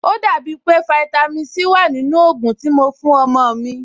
Ò dàbí pé fáítámì Sí wà nínú ògùn tí mo fún ọmọ-ọ̀n mi